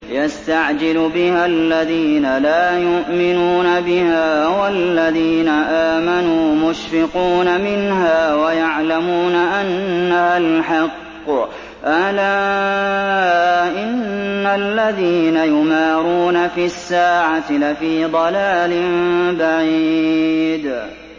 يَسْتَعْجِلُ بِهَا الَّذِينَ لَا يُؤْمِنُونَ بِهَا ۖ وَالَّذِينَ آمَنُوا مُشْفِقُونَ مِنْهَا وَيَعْلَمُونَ أَنَّهَا الْحَقُّ ۗ أَلَا إِنَّ الَّذِينَ يُمَارُونَ فِي السَّاعَةِ لَفِي ضَلَالٍ بَعِيدٍ